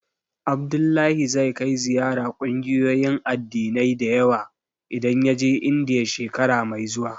Abdullahi zai kai ziyara ƙungiyoyin addinai da yawa idan ya je Indiya, shekara mai zuwa.